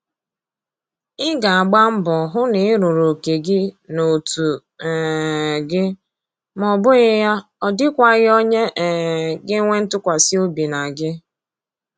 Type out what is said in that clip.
Ị ga-agba mbọ hụ na Ị rụrụ oke gị n'otu um gị ma ọbụghị ya ọdịkwaghị onye um ga-enwe ntụkwasị obi na gị